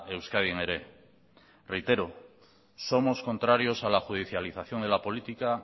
euskadin ere reitero somos contrarios a la judicialización de la política